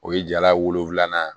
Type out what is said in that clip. O ye jala wolonfilanan ye